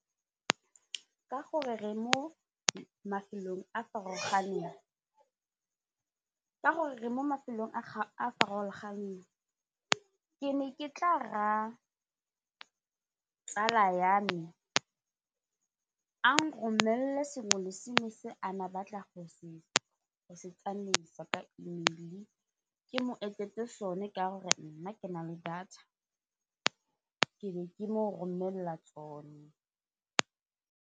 Ka gore re mo mafelong a a farologaneng ke ne ke tla raya tsala ya me a nromelele sengwe le sengwe se ane a batla go se tsamaisa ka email ke mo etsetse sone ka gore nna ke na le data ke be ke mo romelela tsone.